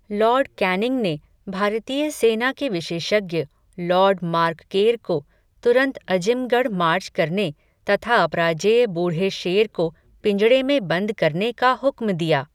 Lord Canning ने, भारतीय सेना के विशेषज्ञ, लॉर्ड मार्क केर को, तुरन्त अजिमगढ़ मार्च करने, तथा अपराजेय बूढ़े शेर को पिंजड़े में बन्द करने का हुक्म दिया